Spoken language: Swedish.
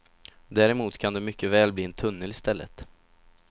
Däremot kan det mycket väl bli en tunnel i stället.